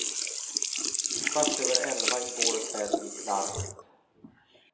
Kvart över elva i går kväll gick larmet.